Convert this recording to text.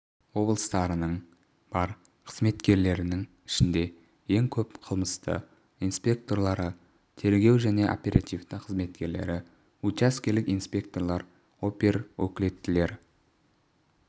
облыстарының бар қызметкерілерінің ішінде ең көп қылмысты инсекторлары тергеу және оперативтік қызметкерлері учаскелік инспекторлар оперөкілеттілер